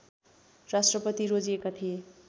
राष्ट्रपति रोजिएका थिए